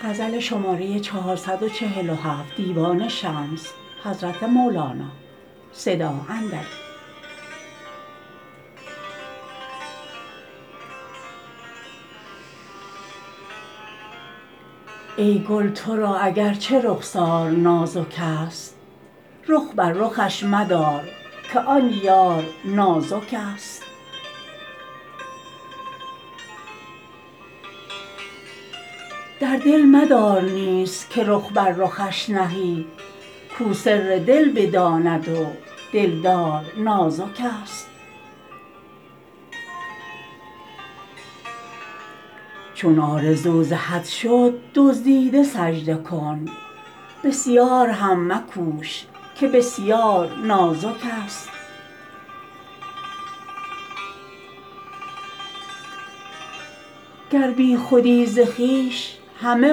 ای گل تو را اگر چه که رخسار نازکست رخ بر رخش مدار که آن یار نازکست در دل مدار نیز که رخ بر رخش نهی کو سر دل بداند و دلدار نازکست چون آرزو ز حد شد دزدیده سجده کن بسیار هم مکوش که بسیار نازکست گر بیخودی ز خویش همه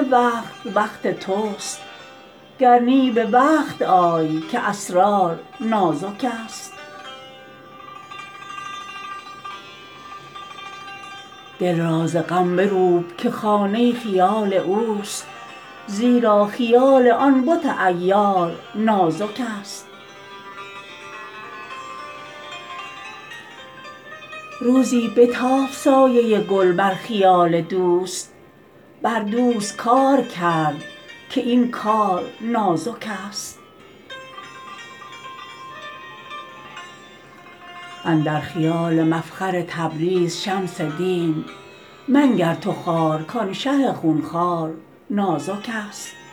وقت وقت تو است گر نی به وقت آی که اسرار نازکست دل را ز غم بروب که خانه خیال او است زیرا خیال آن بت عیار نازک است روزی بتافت سایه گل بر خیال دوست بر دوست کار کرد که این کار نازکست اندر خیال مفخر تبریز شمس دین منگر تو خوار کان شه خون خوار نازکست